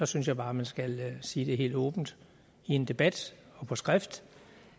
synes jeg bare man skal sige helt åbent i en debat og på skrift